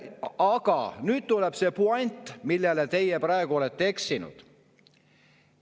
Aga nüüd tuleb see puänt, milles teie praegu olete eksinud.